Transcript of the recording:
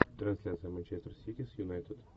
трансляция манчестер сити с юнайтед